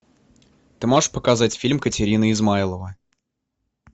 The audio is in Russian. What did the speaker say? ты можешь показать фильм катерина измайлова